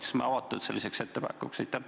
Kas me oleks avatud sellisele ettepanekule?